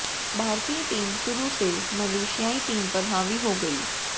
भारतीय टीम शुरु से मलेशियाई टीम पर हावी हो गयी